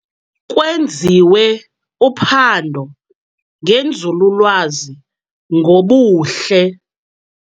Kwenziwe uphando ngenzululwazi ngobuhle.